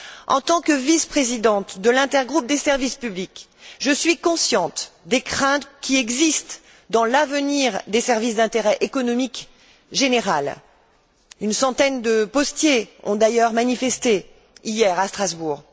En tant que vice présidente de l'intergroupe des services publics, je suis consciente des craintes qui existent dans l'avenir des services d'intérêt économique général une centaine de postiers ont d'ailleurs manifesté, hier, à Strasbourg.